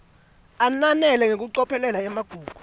ananele ngekucophelela emagugu